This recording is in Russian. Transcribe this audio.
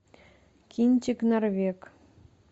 кинчик норвег